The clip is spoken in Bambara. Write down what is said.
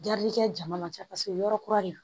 kɛ jama man ca paseke yɔrɔ kura de don